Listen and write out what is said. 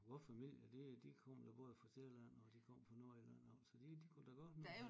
Vor familie de de kom da både fra Sjælland og de kom fra Nordjylland af så de kunne da godt